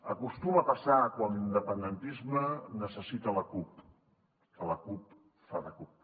acostuma a passar quan l’independentisme necessita la cup que la cup fa de cup